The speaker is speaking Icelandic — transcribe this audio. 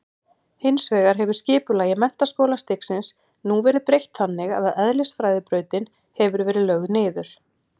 Hins vegar hefur skipulagi menntaskólastigsins nú verið breytt þannig að eðlisfræðibrautin hefur verið lögð niður.